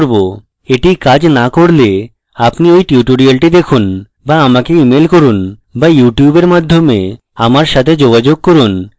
এটি কাজ so করলে আপনি ঐ tutorial দেখুন so আমাকে email করুন so আমার ইউটিউবের মাধ্যমে আমার সাথে যোগাযোগ করুন